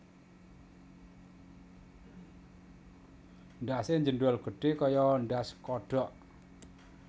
Ndhase njendhol gedhe kaya ndhas kodhok